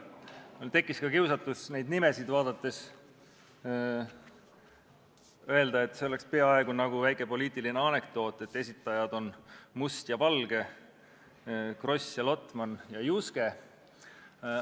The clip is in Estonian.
Mul tekkis ka kiusatus neid nimesid vaadates öelda, et see oleks peaaegu nagu väike poliitiline andekdoot, et esitajad on Must ja Valge, Kross, Lotman ja Juske.